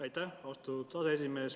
Aitäh, austatud aseesimees!